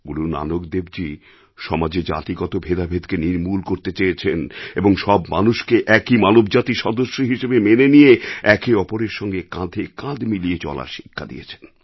গুরু নানকদেবজী সমাজে জাতিগত ভেদাভেদকে নির্মূল করতে চেয়েছেন এবং সব মানুষকে একই মানবজাতির সদস্য হিসেবে মেনে নিয়ে একে অপরের সঙ্গে কাঁধে কাঁধ মিলিয়ে চলার শিক্ষা দিয়েছেন